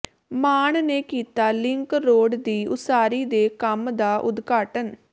ਮਾਨ ਨੇ ਕੀਤਾ link road ਦੀ ਉਸਾਰੀ ਦੇ ਕੰਮ ਦਾ ਉਦਘਾਟਨ